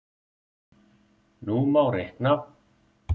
Nú má reikna